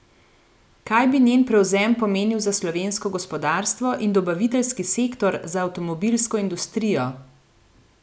Kaj bi njen prevzem pomenil za slovensko gospodarstvo in dobaviteljski sektor za avtomobilsko industrijo?